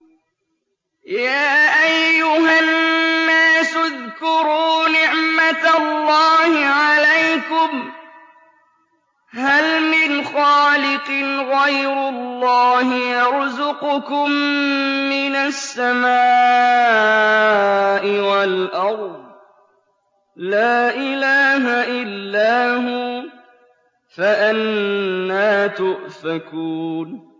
يَا أَيُّهَا النَّاسُ اذْكُرُوا نِعْمَتَ اللَّهِ عَلَيْكُمْ ۚ هَلْ مِنْ خَالِقٍ غَيْرُ اللَّهِ يَرْزُقُكُم مِّنَ السَّمَاءِ وَالْأَرْضِ ۚ لَا إِلَٰهَ إِلَّا هُوَ ۖ فَأَنَّىٰ تُؤْفَكُونَ